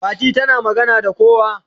Fati tana magana da kowa.